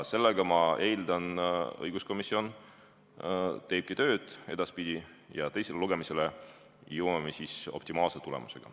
Sellega, ma eeldan, õiguskomisjon teebki edaspidi tööd ja teisele lugemisele jõuame optimaalse tulemusega.